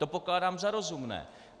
To pokládám za rozumné.